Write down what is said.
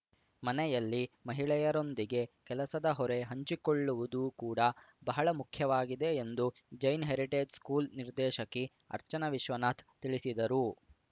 ಮನೆಯಲ್ಲಿ ಮಹಿಳೆಯರೊಂದಿಗೆ ಕೆಲಸದ ಹೊರೆ ಹಂಚಿಕೊಳ್ಳುವುದು ಕೂಡ ಬಹಳ ಮುಖ್ಯವಾಗಿದೆ ಎಂದು ಜೈನ್ ಹೆರಿಟೇಜ್ ಸ್ಕೂಲ್ ನಿರ್ದೇಶಕಿ ಅರ್ಚನಾ ವಿಶ್ವನಾಥ್ ತಿಳಿಸಿದರು